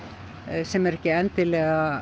sem er ekki endilega